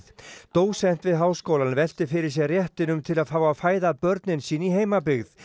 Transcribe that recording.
dósent við háskólann velti fyrir sér réttinum til að fá að fæða börnin sín í heimabyggð